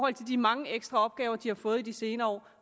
af de mange ekstra opgaver de har fået i de senere